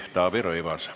Taavi Rõivas.